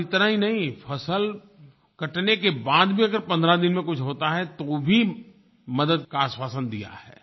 और इतना ही नहीं फ़सल कटने के बाद भी अगर 15 दिन में कुछ होता है तो भी मदद का आश्वासन दिया है